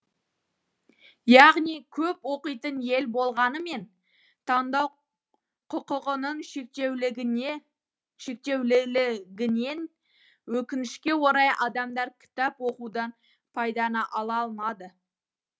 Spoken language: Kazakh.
яғни көп оқитын ел болғанымен таңдау құқығының шектеулілігінен өкінішке орай адамдар кітап оқудан пайданы ала алмады